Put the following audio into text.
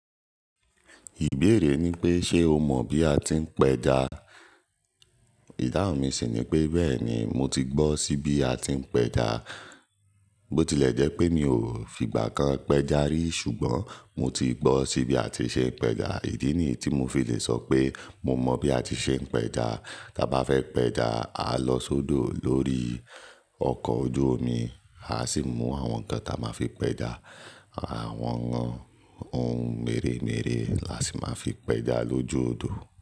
Ìbéèrè ni pé ṣe o mọ̀ bí a ti ń péja? Ìdáhùn mi sì ni pé bẹ́ẹ̀ni mo ti gbọ́ sí bí a ti ń péja. Botilẹ̀ jẹ́ pé mi ò fìgbà kan péja rí ṣùgbọ́n mo ti gbọ́ sí bí a ti ṣe ń péja. Idí niyi tí mo fi le sọ pé mo mọ bí a ti ṣe ń péja. Ta bá fẹ́ péja, a lọ sódò lórí ọkọ̀ ojú omi, a sì mú àwọn nkan taa máa fi péja, àwọn, ohun mèremère là sì máa fi péja lójú odò.